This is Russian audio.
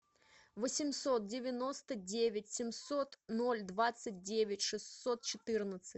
восемьсот девяносто девять семьсот ноль двадцать девять шестьсот четырнадцать